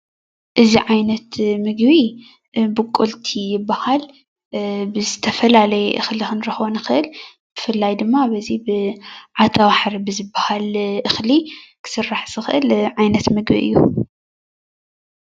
እዚ ዓይነት ምግቢ ብቁልቲ ይበሃል:: እዚ ዓይነት ምግቢ ካብ ዝተፈላለዩ እክሊ ብፍላይ ድማ ዓተርባሕሪ ዝስራሕ ዝክእል ዓይነት እክሊ እዩ::